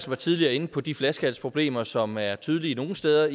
var tidligere inde på de flaskehalsproblemer som er tydelige nogle steder